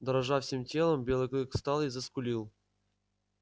дрожа всем телом белый клык встал и заскулил